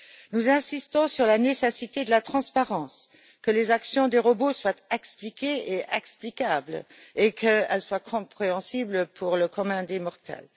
Nous insistons sur la nécessité de la transparence, que les actions des robots soient expliquées et explicables, et qu'elles soient compréhensibles pour le commun des mortels.